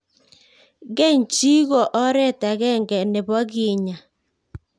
Keeny chii ko oret ag'eng'e nepo kenyaa